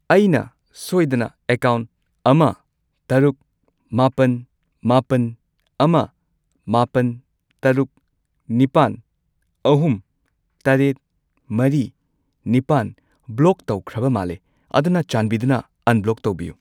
ꯑꯩꯅ ꯁꯣꯏꯗꯅ ꯑꯦꯀꯥꯎꯟꯠ ꯑꯃ ꯇꯔꯨꯛ, ꯃꯥꯄꯟ, ꯃꯥꯄꯟ, ꯑꯃ, ꯃꯥꯄꯜ, ꯇꯔꯨꯛ, ꯅꯤꯄꯥꯟ , ꯑꯍꯨꯝ, ꯇꯔꯦꯠ, ꯃꯔꯤ, ꯅꯤꯄꯥꯜ ꯕ꯭ꯂꯣꯛ ꯇꯧꯈ꯭ꯔꯕ ꯃꯥꯜꯂꯦ, ꯑꯗꯨꯅ ꯆꯥꯟꯕꯤꯗꯨꯅ ꯑꯟꯕ꯭ꯂꯣꯛ ꯇꯧꯕꯤꯌꯨ꯫